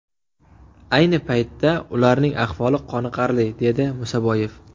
Ayni paytda ularning ahvoli qoniqarli”, dedi Musaboyev.